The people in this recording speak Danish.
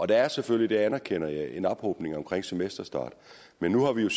der er selvfølgelig det anerkender jeg en ophobning omkring semesterstart men nu har vi jo